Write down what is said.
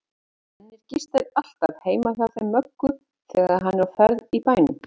Svenni gistir alltaf heima hjá þeim Möggu þegar hann er á ferð í bænum.